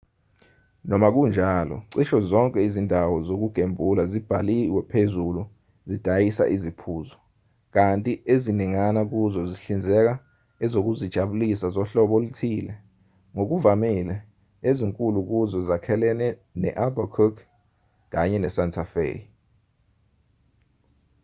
noma kunjalo cishe zonke izindawo zokugembula ezibhalwe phezulu zidayisa iziphuzo kanti eziningana kuzo zihlinzeka ezokuzijabulisa zohlobo oluthile ngokuvamile ezinkulu kuzo ezakhelene ne-albuquerque kanye ne-santa fe